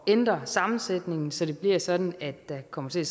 ændre sammensætningen så det bliver sådan at der kommer til